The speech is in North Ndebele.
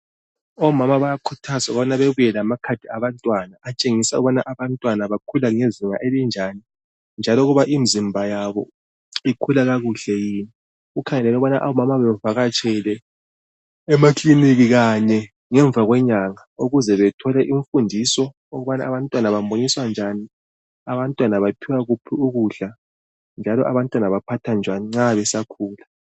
Omama bayakhuthazwa ukubana bebuya lamakhadi abantwana atshengisa ukubana abantwana bakhula ngezinga elinjani njalo ukuba imizimba yabo ikhula kakuhle yini kukhangelelwe ukubana omama bevakatshele emakiliniki Kanye ngemva kwenyanga ukuze bathole imfundiso ukubana abantwana bamunyiswa njani abantwana baphiwa kuphi ukudla njalo abantwana baphathwa njani besakhula